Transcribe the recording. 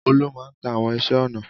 Olú máa ń ta àwọn iṣẹ́-ọnà.